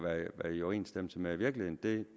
er i overensstemmelse med virkeligheden det